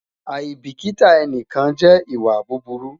aibikita ẹnikan jẹ iwa buburu